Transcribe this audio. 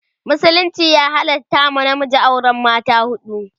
musulunci ya halatta wa namiji auran mata huɗu